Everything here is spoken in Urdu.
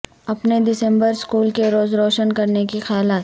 اپنے دسمبر اسکول کے روز روشن کرنے کے خیالات